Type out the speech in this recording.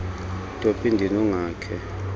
topi ndini ungakhe